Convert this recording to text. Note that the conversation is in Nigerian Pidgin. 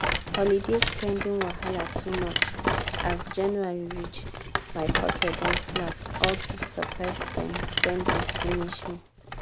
holiday spending wahala too much! as january reach my pocket don flat all dis surprise spend-spend don finish me.